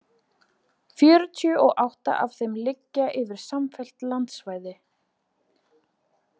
Fjörutíu og átta af þeim liggja yfir samfellt landsvæði.